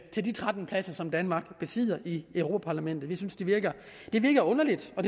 til de tretten pladser som danmark besidder i europa parlamentet vi synes det virker det virker underligt og